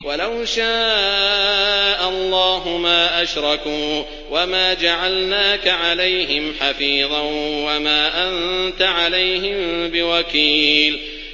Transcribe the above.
وَلَوْ شَاءَ اللَّهُ مَا أَشْرَكُوا ۗ وَمَا جَعَلْنَاكَ عَلَيْهِمْ حَفِيظًا ۖ وَمَا أَنتَ عَلَيْهِم بِوَكِيلٍ